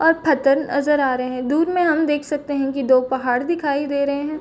और पथर नज़र आ रहे है दूर में हम देख सकते है दो पहाड़ दिखाई दे रहे है।